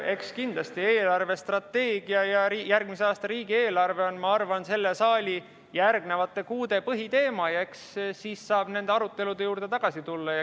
Eks kindlasti eelarvestrateegia ja järgmise aasta riigieelarve on, ma arvan, selle saali järgnevate kuude põhiteema ja eks siis saab nende arutelude juurde tagasi tulla.